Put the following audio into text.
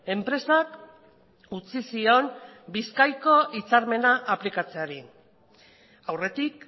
enpresak utzi zion bizkaiko hitzarmena aplikatzeari aurretik